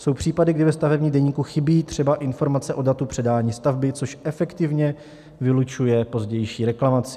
Jsou případy, kdy ve stavebním deníku chybí třeba informace o datu předání stavby, což efektivně vylučuje pozdější reklamaci.